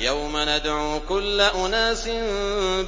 يَوْمَ نَدْعُو كُلَّ أُنَاسٍ